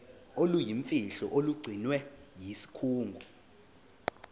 oluyimfihlo olugcinwe yisikhungo